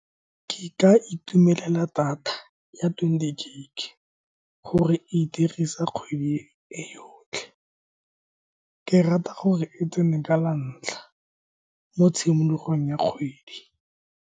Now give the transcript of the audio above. Ke ka itumelela data ya twenty gig, gore ke e dirisa kgwedi e yotlhe. Ke rata gore e tsene ka la ntlha mo tshimologong ya kgwedi.